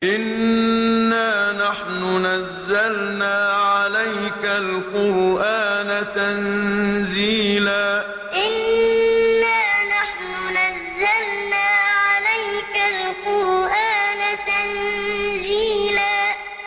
إِنَّا نَحْنُ نَزَّلْنَا عَلَيْكَ الْقُرْآنَ تَنزِيلًا إِنَّا نَحْنُ نَزَّلْنَا عَلَيْكَ الْقُرْآنَ تَنزِيلًا